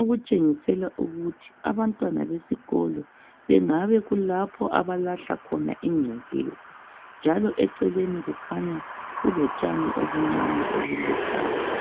okutshengisela ukuthi abantwana besikolo bengabe kulapho abalahla khona ingcekeza, njalo eceleni kukhanya kulotshani obuncane obuluhlaza.